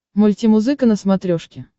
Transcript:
мультимузыка на смотрешке